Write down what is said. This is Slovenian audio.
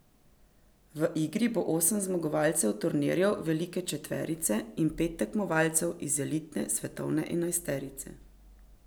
V igri bo osem zmagovalcev turnirjev velike četverice in pet tekmovalcev iz elitne svetovne enajsterice.